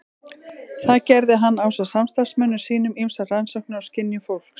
Þar gerði hann ásamt samstarfsmönnum sínum ýmsar rannsóknir á skynjun fólks.